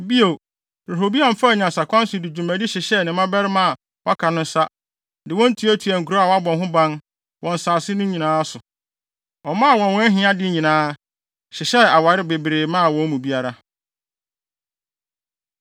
Bio, Rehoboam faa nyansakwan so de dwumadi hyehyɛɛ ne mmabarima a wɔaka no nsa, de wɔn tuatuaa nkurow a wɔabɔ ho ban, wɔ nsase no nyinaa so. Ɔmaa wɔn wɔn ahiade nyinaa, hyehyɛɛ aware bebree maa wɔn mu biara.